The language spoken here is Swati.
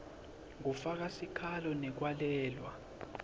kufaka sikhalo ngekwalelwa